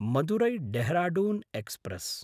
मदुरै–ढेहराढून express